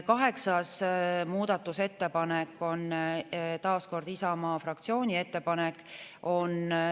Kaheksas muudatusettepanek on taas Isamaa fraktsiooni ettepanek.